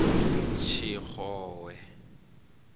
tshixowe